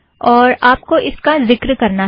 और आपको इसका जिक्र करना है